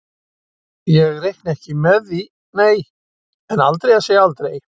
Ég reikna ekki með því nei, en aldrei að segja aldrei.